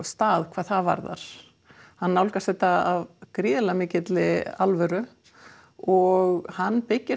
stað hvað það varðar hann nálgast þetta af gríðarlega mikilli alvöru og hann byggir